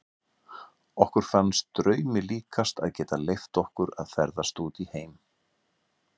Okkur fannst draumi líkast að geta leyft okkur að ferðast út í heim.